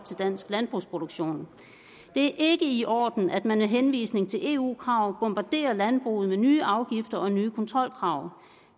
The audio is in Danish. til dansk landbrugsproduktion det er ikke i orden at man med henvisning til eu krav bombarderer landbruget med nye afgifter og nye kontrolkrav